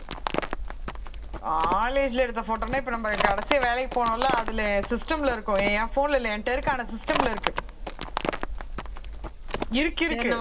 college ல எடுத்த photo ன்னா இப்ப நம்ம கடைசியா வேலைக்கு போனோம் இல்லை அதுல system ல இருக்கும் என் phone ல இல்லை என்கிட்ட இருக்கற system ல இருக்கு இருக்கு இருக்கு